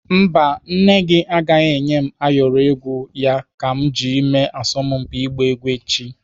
Mba, nne gị agaghị enye m ayọrọ egwu ya ka m ji mee asọmpi igba egwu echi.